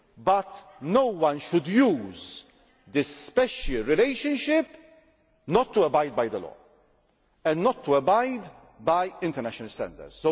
but that no one should use this special relationship not to abide by the law and not to abide by international standards.